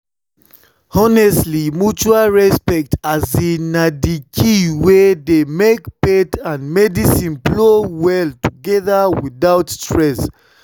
honestly mutual respect na the key wey dey make faith and medicine flow well together without stress.